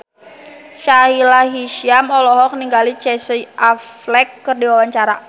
Sahila Hisyam olohok ningali Casey Affleck keur diwawancara